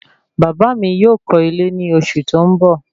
Bàbá mí yóò kọ́ ilé ní oṣù tí ó ń bọ